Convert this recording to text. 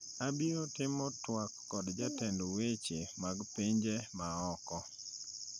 Abiro timo twak kod jatend weche mag pinje ma oko